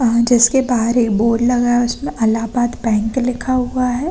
जिसके बाहर एक बोर्ड लगा हैं उसमे अलाहाबाद बैंक लिखा हुआ हैं ।